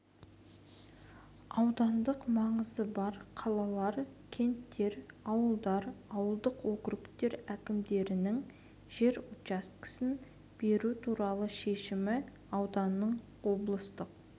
аудандық маңызы бар қалалар кенттер ауылдар ауылдық округтер әкімдерінің жер учаскесін беру туралы шешімі ауданның облыстық